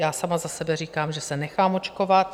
Já sama za sebe říkám, že se nechám očkovat.